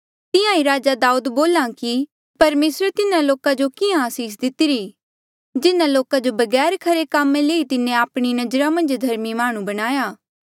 तिहां ही राजा दाऊद बोला कि परमेसरे तिन्हा लोका जो किहाँ आसीस दितिरी जिन्हा लोका जो बगैर खरे कामा ले ही तिन्हें आपणी नजरा मन्झ धर्मी माह्णुं बणाया